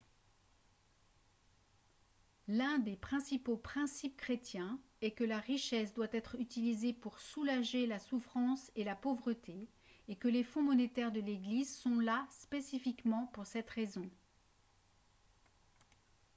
l'un des principaux principes chrétiens est que la richesse doit être utilisée pour soulager la souffrance et la pauvreté et que les fonds monétaires de l'église sont là spécifiquement pour cette raison